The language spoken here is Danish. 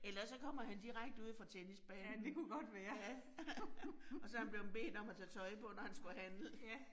Eller også så kommer han direkte ude fra tennisbanen. Ja og så han blevet bedt om at tage tøj på, når han skulle handle